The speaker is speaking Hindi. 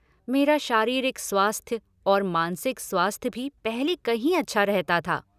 मेरा शारीरिक स्वास्थ्य और मानसिक स्वास्थ्य भी पहले कहीं अच्छा रहता था।